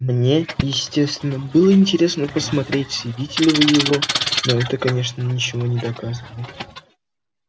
мне естественно было интересно посмотреть съедите ли вы его но это конечно ничего не доказывает